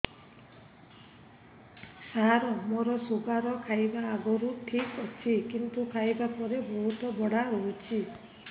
ସାର ମୋର ଶୁଗାର ଖାଇବା ଆଗରୁ ଠିକ ଅଛି କିନ୍ତୁ ଖାଇବା ପରେ ବହୁତ ବଢ଼ା ରହୁଛି